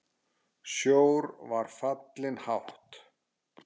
Sjór var fallinn hátt.